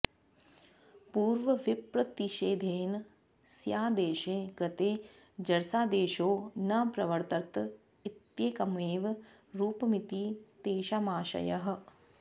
पूर्वविप्रतिषेधेन स्यादेशे कृते जरसादेशो न प्रवर्तत इत्येकमेव रूपमिति तेषामाशयः